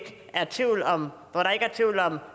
er tvivl om